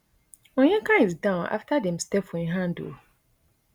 onyeka is down afta dem step for im hand ooo